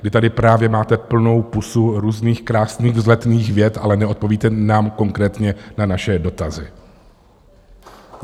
Vy tady právě máte plnou pusu různých krásných vzletných vět, ale neodpovídáte nám konkrétně na naše dotazy.